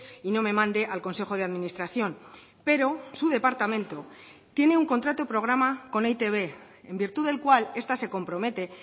y no me mande al consejo de administración pero su departamento tiene un contrato programa con e i te be en virtud del cual esta se compromete